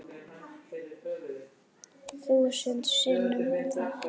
Þúsund sinnum takk.